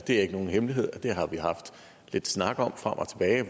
er ikke nogen hemmelighed at det har vi haft lidt snak om frem og tilbage